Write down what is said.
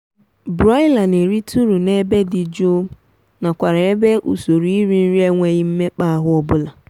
broiler na-erite uru n'ebe dị jụụbu nakwarugb ebe usorou iri nri enweghi mmekpaahụ ọbụla